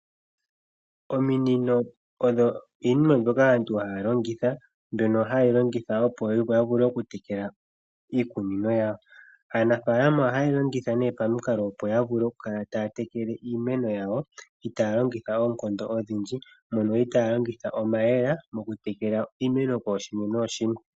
Ominino odho iinima mbyoka aantu haya longitha okutekela iikunino. Aanafaalama ohaye yi longitha opo ya vule okukala taya tekele iimeno yawo itaaya longitha oonkondo odhindji yo itaya longitha omayemele okutekela iimeno kooshimwe.